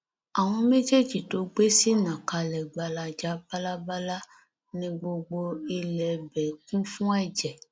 àwọn méjì tó gbé sì nà kalẹ gbalaja bálábàlà ni gbogbo ilẹ ibẹ kún fún ẹjẹ